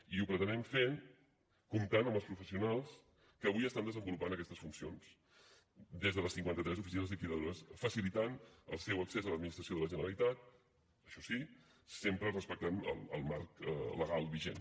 i ho pretenem fer comptant amb els professionals que avui estan desenvolupant aquestes funcions des de les cinquanta tres oficines liquidadores que faciliten el seu accés a l’administració de la generalitat això sí sempre respectant el marc legal vigent